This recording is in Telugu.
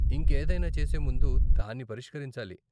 ఇంకేదైనా చేసే ముందు దాన్ని పరిష్కరించాలి.